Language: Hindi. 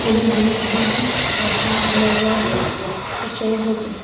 खुली धुप है आसमान खुला हुआ है परछाई बहत --